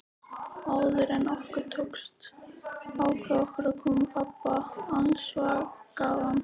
Áður en okkur tókst að ákveða okkur kom pabbi askvaðandi.